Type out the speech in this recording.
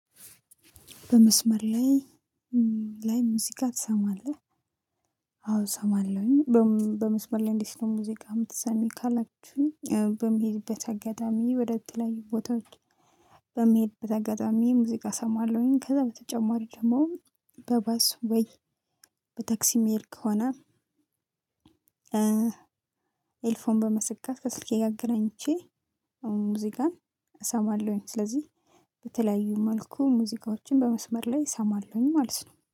በመስመር ላይ ላይ ሙዚቃ ትሰማለህ? አዎ እሰማለሁኝ። በመስመር ላይ እንዴት ነው? ሙዚቃ የምትሰሚ ካላችሁኝ በሚሄድበት አጋጣሚ ወደ ተለያዩ ቦታዎች። በመሄድበት አጋጣሚ ሙዚቃ እሰማለሁኝ ከዛ በተጨማሪ ደግሞ በባስ ወይ በተክሲ ምሄድ ከሆነ ኤርፎን በመሰካት ከስልኬ ጋር አገናኝቼ ሙዚቃን እሰማለሁኝ። ስለዚህ በተለያዩ መልኩ ሙዚቃዎችን በመስመር ላይ እሰማለሁኝ ማለት ነው